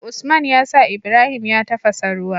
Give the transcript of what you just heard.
Usman yasa Ibrahim ya tafasa ruwa